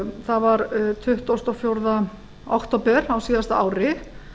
það var tuttugasta og fjórða október á síðasta ári